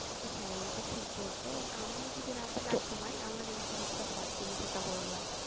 হ্যাঁ এটা ঠিক বলছো আমি যদি রাতে না ঘুমাই এই জিনিষটা হয় তুমি যেটা বললা